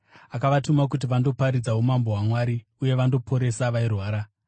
akavatuma kuti vandoparidza umambo hwaMwari uye vandoporesa vairwara.